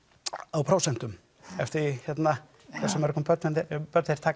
á prósentum eftir því hversu mörg börn börn þeir taka